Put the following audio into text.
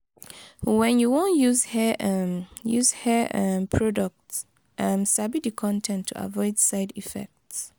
when you wan use hair um use hair um product um sabi di con ten t to avoid side effects